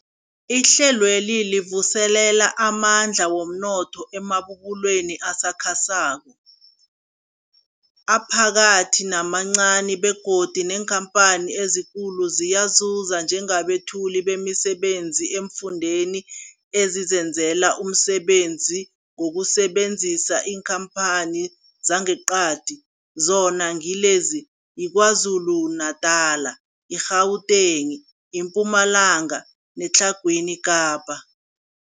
Ihlelweli livuselela amandla womnotho emabubulweni asakhasako, aphakathi namancani begodu neenkhamphani ezikulu ziyazuza njengabethuli bemisebenzi eemfundeni ezizenzela umsebenzi ngokusebenzisa iinkhamphani zangeqadi, zona ngilezi, yiKwaZulu-Natala, i-Gauteng, iMpumalanga neTlhagwini Kapa.